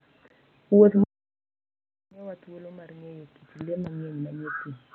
Wuoth mitimo gi Faras miyowa thuolo mar ng'eyo kit le mang'eny manie thim.